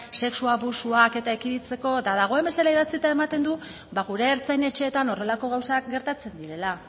sexu abusuak eta ekiditzeko eta dagoen bezala idatzita ematen du ba gure ertzain etxeetan horrelako gauzak gertatzen direla